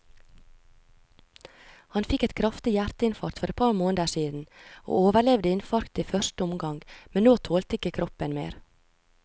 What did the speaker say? Han fikk et kraftig hjerteinfarkt for et par måneder siden, og overlevde infarktet i første omgang, men nå tålte ikke kroppen mer.